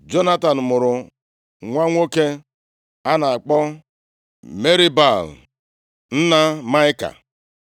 Jonatan mụrụ nwa nwoke a na-akpọ Merib-Baal, nna Maịka.